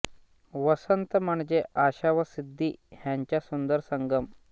वसन्त म्हणजे आशा व सिद्धी ह्यांचा सुन्दर संगम